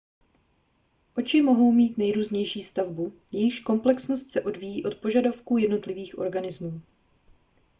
oči mohou mít nejrůznější stavbu jejíž komplexnost se odvíjí od požadavků jednotlivých organismů